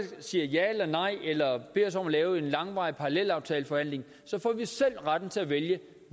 siger ja eller nej eller beder os om at lave en langvarig parallelaftaleforhandling så får vi selv retten til at vælge